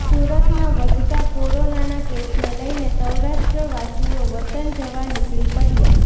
સુરતમાં વધતાં કોરોનાના કેસને લઈને સૌરાષ્ટ્રવાસીઓ વતન જવા નીકળી પડ્યા